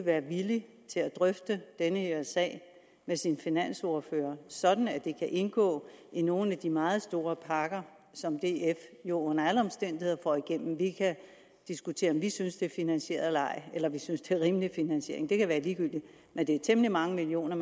være villig til at drøfte den her sag med sin finansordfører sådan at det kan indgå i nogle af de meget store pakker som df jo under alle omstændigheder får igennem vi kan diskutere om vi synes det er finansieret eller ej eller om vi synes det er rimelig finansiering det kan være ligegyldigt men det er temmelig mange millioner